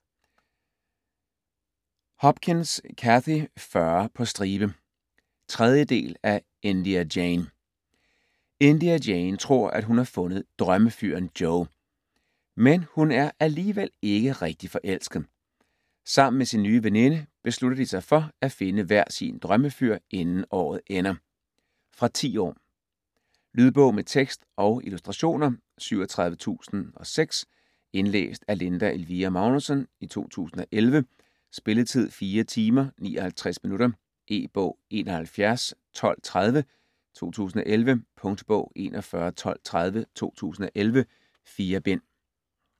Hopkins, Cathy: Fyre på stribe 3. del af India Jane. India Jane tror, at hun har fundet drømmefyren Joe, men hun er alligevel ikke rigtig forelsket. Sammen med sin nye veninde beslutter de sig for at finde hver sin drømmefyr, inden året ender. Fra 10 år. Lydbog med tekst og illustrationer 37006 Indlæst af Linda Elvira Magnussen, 2011. Spilletid: 4 timer, 59 minutter. E-bog 711230 2011. Punktbog 411230 2011. 4 bind.